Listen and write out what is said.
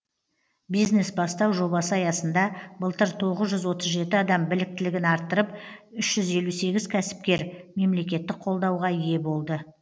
бизнес бастау жобасы аясында былтыр тоғыз жүз отыз жеті адам біліктілігін арттырып үш жүз елу сегіз кәсіпкер мемлекеттік қолдауға ие болды